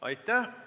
Aitäh!